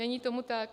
Není tomu tak.